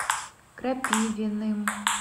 крапивиным